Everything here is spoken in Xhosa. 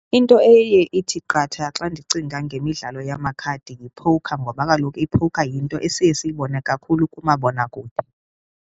Into eye ithi qatha xa ndicinga ngemidlalo yamakhadi yiphowukha ngoba kaloku iphowukha yinto esiye siyibone kakhulu kumabonakude.